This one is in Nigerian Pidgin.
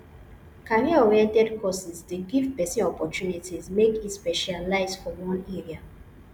careeroriented courses dey give pesin opportunity make e specialise for one area